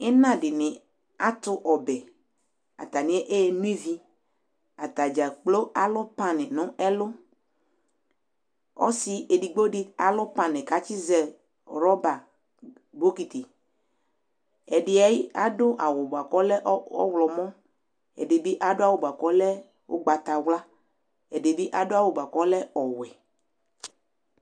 ina di ni ato ɔbɛ atani eno ivi atadza kplo alo pan no ɛlo ɔse edigbo di alo pan ko atsi zɛ rɔba bokiti ɛdi ado awu ko ɔlɛ ɔwlɔmɔ ɛdi bi ado awu ko ɔlɛ ugbata wla ɛdi bi ado awu boa ko ɔlɛ ɔwɛ